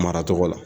Maracogo la